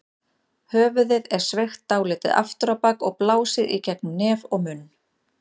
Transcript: Höfuðið er sveigt dálítið aftur á bak og blásið í gegnum nef og munn.